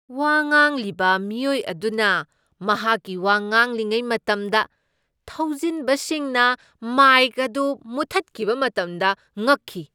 ꯋꯥ ꯉꯥꯡꯂꯤꯕ ꯃꯤꯑꯣꯏ ꯑꯗꯨꯅ ꯃꯍꯥꯛꯀꯤ ꯋꯥ ꯉꯥꯡꯂꯤꯉꯩ ꯃꯇꯝꯗ ꯊꯧꯁꯤꯟꯕꯁꯤꯡꯅ ꯃꯥꯏꯛ ꯑꯗꯨ ꯃꯨꯊꯠꯈꯤꯕ ꯃꯇꯝꯗ ꯉꯛꯈꯤ꯫